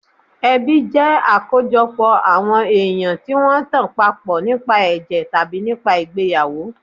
Ẹbí jẹ́ àkójọpọ̀ àwọn èèyàn tí wọ́n tan papọ̀ nípa ẹ̀jẹ̀ tàbí nípa ìgbéyàwó